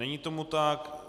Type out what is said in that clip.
Není tomu tak.